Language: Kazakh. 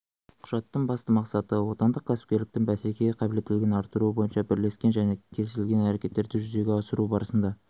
құжаттың басты мақсаты отандық кәсіпкерліктің бәсекеге қабілеттілігін арттыру бойынша бірлескен және келісілген әрекеттерді жүзеге асыру барысында